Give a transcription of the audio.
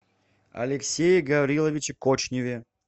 алексее гавриловиче кочневе